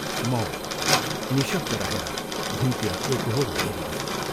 मौन, निःशब्द रहेर भुइँतिर एकोहोरो हेरिरह्यो।